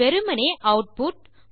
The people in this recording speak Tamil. வெறுமனே ஆட்புட்